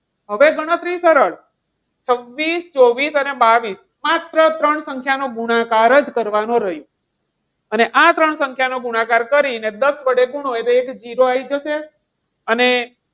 હવે ગણતરી સરળ છવ્વીસ, ચોવીસ અને બાવીશ માત્ર ત્રણ સંખ્યા નો ગુણાકાર જ કરવાનો રહેશે. અને આ ત્રણ સંખ્યાનો ગુણાકાર કરી દસ વડે ગુણો એટલે zero આવી જશે. અને,